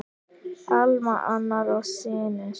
Alma, Arnar og synir.